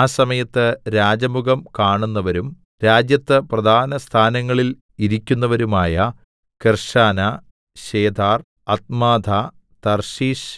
ആ സമയത്ത് രാജമുഖം കാണുന്നവരും രാജ്യത്ത് പ്രധാനസ്ഥാനങ്ങളിൽ ഇരിക്കുന്നവരുമായ കെർശനാ ശേഥാർ അദ്മാഥാ തർശീശ്